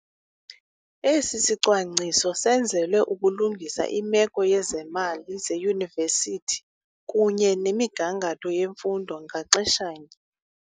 Esi sicwangciso senzelwe ukulungisa imeko yezemali zeyunivesithi kunye nemigangatho yemfundo ngaxeshanye.